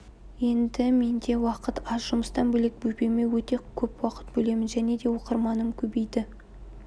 енді менде уақыт аз жұмыстан бөлек бөпеме өте көп уақыт бөлемін және де оқырманым көбейді